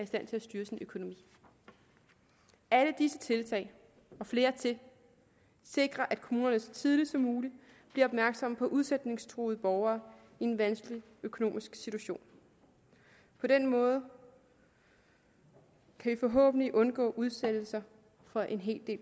stand til at styre sin økonomi alle disse tiltag og flere til sikrer at kommunerne så tidligt som muligt bliver opmærksomme på udsætningstruede borgere i en vanskelig økonomisk situation på den måde kan vi forhåbentlig undgå udsættelser for en hel del